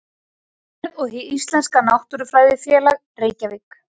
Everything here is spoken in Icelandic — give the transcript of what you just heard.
Landvernd og Hið íslenska náttúrufræðifélag, Reykjavík.